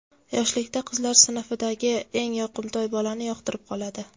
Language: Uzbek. Yoshlikda qizlar sinfidagi eng yoqimtoy bolani yoqtirib qoladi.